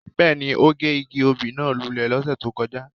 Bẹ́ẹ̀ni, o ge igi obí náa lule lọse to kọja.